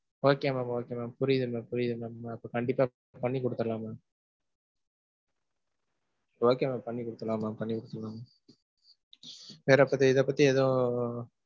Okay mam okay mam. புரியுது mam புரியிது mam. அப்போ கண்டிப்பா பண்ணி குடுத்துருலாம் mam. Okay mam பண்ணி குடுத்துருலாம் mam பண்ணி குடுத்துருலாம். வேற பத்தி இத பத்தி ஏதும்~